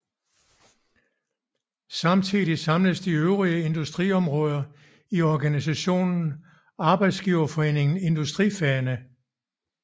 Samtidig samledes de øvrige industriområder i organisationen Arbejdsgiverforeningen Industrifagene